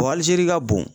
halizeri ka bon